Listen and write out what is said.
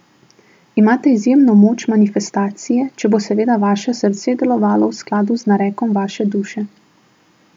Imate izjemno moč manifestacije, če bo seveda vaše srce delovalo v skladu z narekom vaše duše.